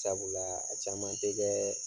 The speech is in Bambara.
Sabula a caman tɛ kɛɛɛ.